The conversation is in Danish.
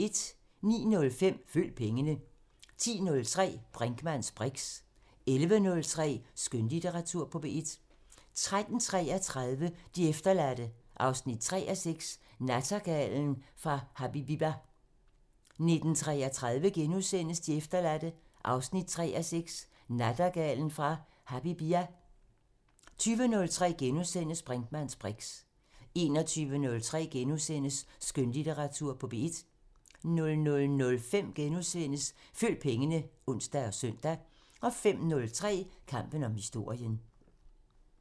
09:05: Følg pengene 10:03: Brinkmanns briks 11:03: Skønlitteratur på P1 13:33: De efterladte 3:6 – Nattergalen af Habibia 19:33: De efterladte 3:6 – Nattergalen af Habibia * 20:03: Brinkmanns briks * 21:03: Skønlitteratur på P1 * 00:05: Følg pengene *(ons og søn) 05:03: Kampen om historien